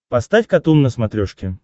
поставь катун на смотрешке